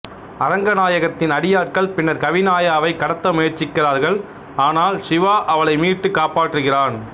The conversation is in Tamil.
அரங்கநாயகத்தின் அடியாட்கள் பின்னர் கவினாயாவைக் கடத்த முயற்சிக்கிறார்கள் ஆனால் சிவா அவளை மீட்டு காப்பாற்றுகிறான்